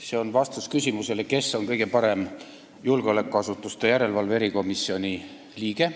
See on vastus küsimusele, kes on kõige parem julgeolekuasutuste järelevalve erikomisjoni liige.